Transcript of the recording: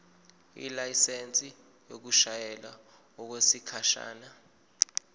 ilayisensi yokushayela okwesikhashana